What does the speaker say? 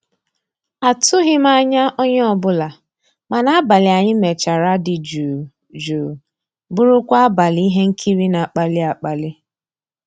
àtụ́ghị́m ànyá onye ọ́bụ́la, mana àbàlí ànyị́ mechara dị́ jụ́ụ́ jụ́ụ́ bụ́rụ́kwa àbàlí íhé nkírí ná-àkpàlí àkpàlí.